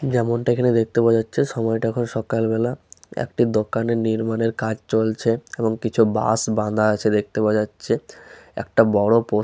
যেমন টা এখানে দেখতে পাওয়া যাচ্ছে সময় টা এখন সকাল বেলা। একটি দোকানে নির্মাণ এর কাজ চলছে এবং কিছু বাঁশ বাধা আছে দেখতে পাওয়া যাচ্ছে। একটা বড়ো পো --